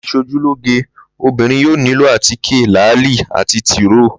Láti s̩ojú lóge, obìnrin yóò nílò àtíké, làáli àti tìróò